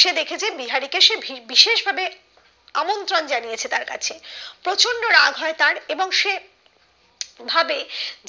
সে দেখেছে বিহারি কে সে ভির বিশেষ ভাবে আমন্ত্রণ জানিয়েছে তার কাছে প্রচন্ড রাগ হয় তার এবং সে ভাবে